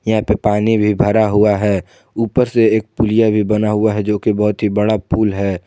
यहां पे पानी भी भरा हुआ है ऊपर से एक पुलिया भी बना हुआ है जो की बहोत ही बड़ा पुल है।